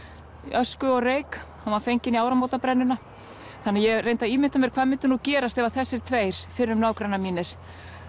ösku og reyk hann var fenginn í þannig að ég reyndi að ímynda mér hvað myndi nú gerast ef þessir tveir fyrrum nágrannar mínir